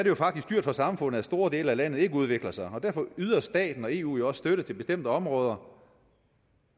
jo faktisk dyrt for samfundet at store dele af landet ikke udvikler sig og derfor yder staten og eu jo også støtte til bestemte områder og